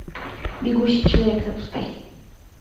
бегущий человек запускай